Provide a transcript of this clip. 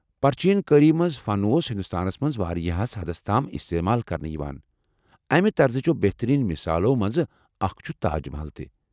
پرٛچیٖن کاری فن اوس ہندوستانس منٛز واریاہس حدس تام استعمال کرنہٕ یوان، امہِ طرزٕچو بہتریٖن مثالو منزٕ اكھ چھےٚ تاج محل۔